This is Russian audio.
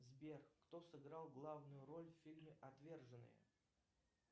сбер кто сыграл главную роль в фильме отверженные